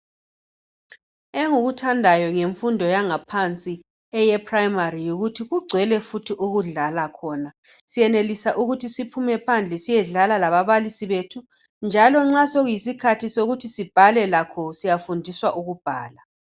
Engikuthandayo ngemfundo yaphansi eye primary yikuthi kugcwele futhi ukudlala khona siyenelisa ukuthi siphume phandle siyedlala lababalisi bethu njalo nxa sekuyisikhathi sokuthi sibhale lakho siyafundisa ukubhala.